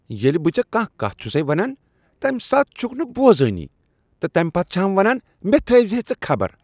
ییٚلہ بہٕ ژےٚ کانٛہہ کتھ چُھسٕے ونان تمہ ساتہٕ چھکھ نہٕ بوزانی تہٕ پتہٕ چُھ ہَم ونان مےٚ تھٲوۍزِ ژٕ خبر۔